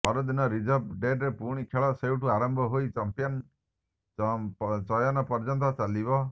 ପରଦିନ ରିଜର୍ଭ ଡେରେ ପୁଣି ଖେଳ ସେଇଠୁ ଆରମ୍ଭ ହୋଇ ଚାମ୍ପିୟନ ଚୟନ ପର୍ଯ୍ୟନ୍ତ ଚାଲିବ